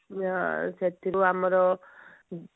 ଆ ସେଥିରୁ ଆମର